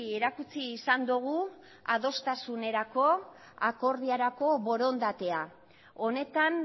erakutsi izan dugu adostasunerako akordiorako borondatea honetan